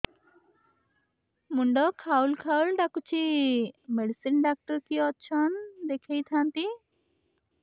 ମୁଣ୍ଡ ଖାଉଲ୍ ଖାଉଲ୍ ଡାକୁଚି ମେଡିସିନ ଡାକ୍ତର କିଏ ଅଛନ୍ ଦେଖେଇ ଥାନ୍ତି